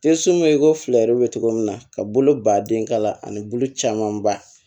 Te sunbe ko fila yɛrɛw be cogo min na ka bolo ba den kala ani bolo caman ba